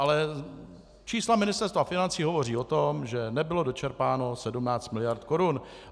Ale čísla Ministerstva financí hovoří o tom, že nebylo dočerpáno 17 mld. korun.